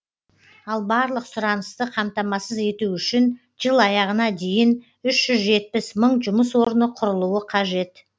ал барлық сұранысты қамтамасыз ету үшін жыл аяғына дейін үш жүз жетпіс мың жұмыс орны құрылуы қажет